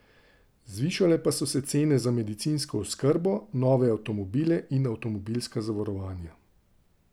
Zvišale pa so se cene za medicinsko oskrbo, nove avtomobile in avtomobilska zavarovanja.